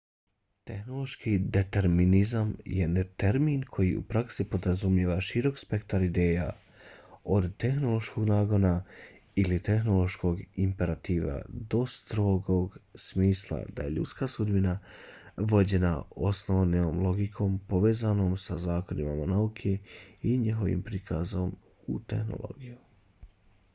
tehnološki determinizam je termin koji u praksi podrazumijeva širok spektar ideja od tehnološkog nagona ili tehnološkog imperativa do strogog smisla da je ljudska sudbina vođena osnovnom logikom povezanom sa zakonima nauke i njihovim prikazom u tehnologiji